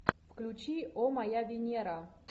включи о моя венера